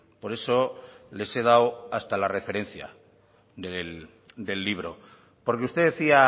por eso les he dado hasta la referencia del libro porque usted decía